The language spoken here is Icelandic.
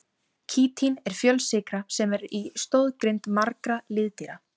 Kítín er fjölsykra sem er í stoðgrind margra liðdýra.